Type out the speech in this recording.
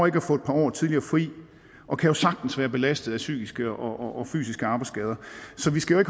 ikke at få et par år tidligere fri og kan jo sagtens være belastet af psykiske og og fysiske arbejdsskader så vi skal jo